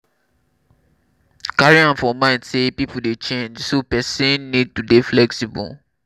carry am for mind sey pipo dey change so person need to dey flexiible